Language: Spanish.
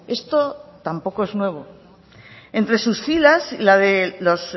esto tampoco es nuevo entre sus filas la de los